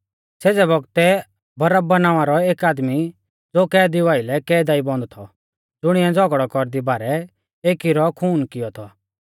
सेज़ै बौगतै बरअब्बा नावां रौ एक आदमी ज़ो कैदीऊ आइलै कैदा ई बन्द थौ ज़ुणिऐ झ़ौगड़ै कौरदी बारै एकी रौ खून कियौ थौ